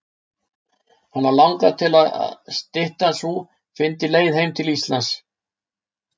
Hana langaði til að styttan sú fyndi leið heim til Íslands.